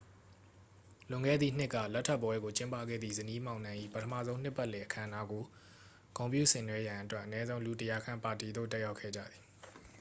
လွန်ခဲ့သည့်နှစ်က လက်ထပ်ပွဲကို ကျင်းပခဲ့သည့် ဇနီးမောင်နှံ၏ ပထမဆုံးနှစ်ပတ်လည် အခမ်းအနားကို ဂုဏ်ပြုဆင်နွဲရန်အတွက် အနည်းဆုံး လူ 100 ခန့် ပါတီသို့ တက်ရောက်ခဲ့ကြသည်